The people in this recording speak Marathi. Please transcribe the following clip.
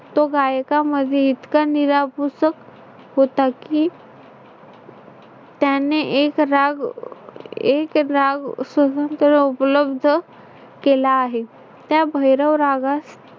तो गायकामध्ये इतका निरभूस होता, की त्याने एक राग एक राग सहस्त्र उपलब्ध केला आहे. त्या भैरव रागास